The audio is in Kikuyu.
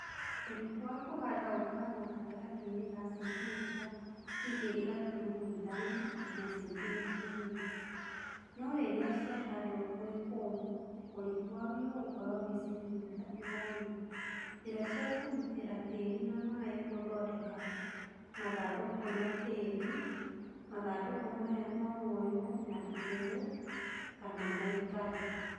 Ũriku wa kũhanda ũkoragwo hatagatĩinĩ ka sentimita 2.5 nginya sentimita 4, no rĩrĩa ciahandwo gwĩkũmũ, ũriku wagĩrĩirwo gũkorwo wĩ sentimita 5.Njĩra cia kũgitĩra tĩĩri na maĩĩ Gũthondeka mathandũkũ na tĩĩri Mathandũkũ maya no moywo na igũrũ kana maikare